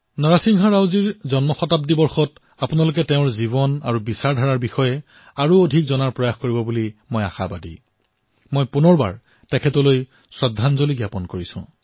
মই তেওঁলৈ পুনৰবাৰ শ্ৰদ্ধাঞ্জলি জ্ঞাপন কৰিছো